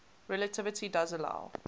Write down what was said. relativity does allow